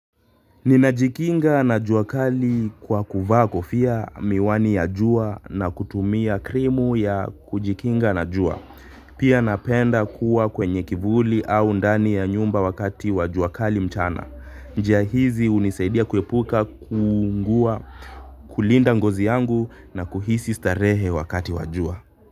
Ninajikinga na jua kali kwa kuvaa kofia miwani ya jua na kutumia krimu ya kujikinga na jua. Pia napenda kuwa kwenye kivuli au ndani ya nyumba wakati wa jua kali mchana. Njia hizi hunisaidia kuepuka kuungua kulinda ngozi yangu na kuhisi starehe wakati wa jua.